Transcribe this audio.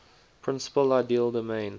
principal ideal domain